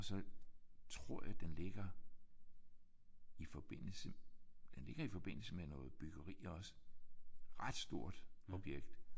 Og så tror jeg den ligger i forbindelse den ligger i forbindelse med noget byggeri også. Ret stort objekt